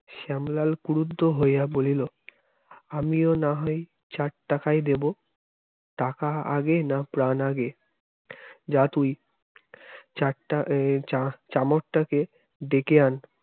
শ্যামলাল ক্রুদ্ধ হইয়া বলিল আমিও না হয় চার টাকাই দেব টাকা আগে না প্রাণ আগে যা তুই । চারটা এ চামারটাকে ডেকে আন